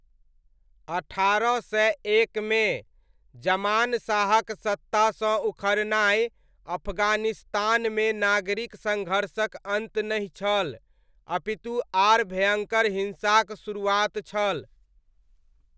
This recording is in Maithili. अठारह सय एकमे, ज़मान शाहक सत्तासँ उखड़नाइ अफगानिस्तानमे नागरिक सङ्घर्षक अन्त नहि छल, अपितु आर भयङ्कर हिंसाक शुरुआत छल।